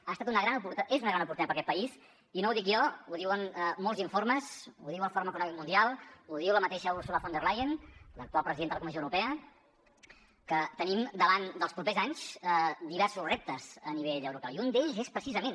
ha estat una gran oportunitat és una gran oportunitat per a aquest país i no ho dic jo ho diuen molts informes ho diu el fòrum econòmic mundial ho diu la mateixa ursula von der leyen l’actual presidenta de la comissió europea que tenim davant dels propers anys diversos reptes a nivell europeu i un d’ells és precisament